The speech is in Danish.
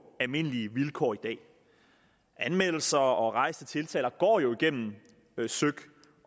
almindelige vilkår i dag anmeldelser og rejste tiltaler går jo igennem søik